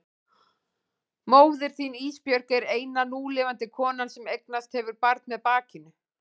Móðir þín Ísbjörg er eina núlifandi konan sem eignast hefur barn með bakinu.